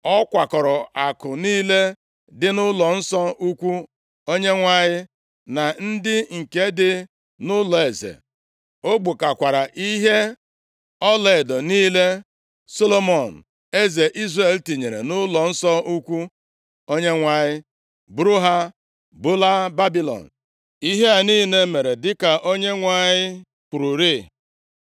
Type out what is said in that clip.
Ọ kwakọọrọ akụ niile dị nʼụlọnsọ ukwu Onyenwe anyị, na ndị nke dị nʼụlọeze, o gbukakwara ihe ọlaedo niile Solomọn eze Izrel tinyere nʼụlọnsọ ukwu Onyenwe anyị buru ha bulaa Babilọn, ihe a niile mere dịka Onyenwe anyị kwururịị.